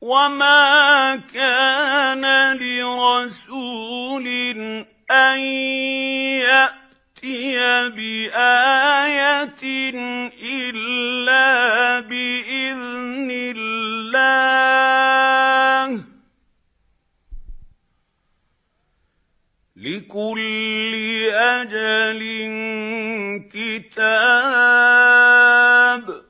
وَمَا كَانَ لِرَسُولٍ أَن يَأْتِيَ بِآيَةٍ إِلَّا بِإِذْنِ اللَّهِ ۗ لِكُلِّ أَجَلٍ كِتَابٌ